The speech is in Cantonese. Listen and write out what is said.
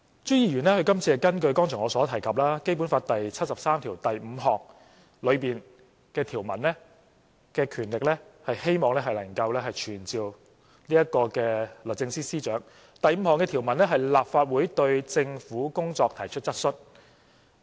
朱議員今次根據剛才我所提及《基本法》第七十三條第五項的條文和權力，希望能夠傳召律政司司長，第五項的條文是立法會"對政府的工作提出質詢"。